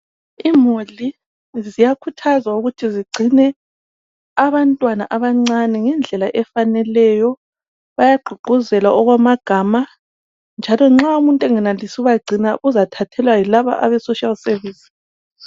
Imuli ziyakhuthazwa ukuthi zigcine abantwana abancane ngendlela efaneleyo bayagqugquzelwa okwamagama njalo nxa umuntu engenelisi ukubagcina uzathathelwa yilabo abama social service